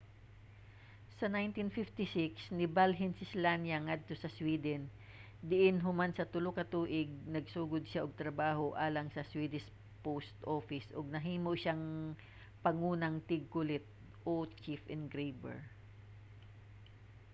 sa 1956 nibalhin si slania ngadto sa sweden diin human sa tulo ka tuig nagsugod siya og trabaho alang sa swedish post office ug nahimo siyang pangunang tigkulit/chief engraver